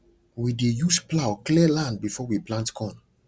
we dey use plough clear land before we plant corn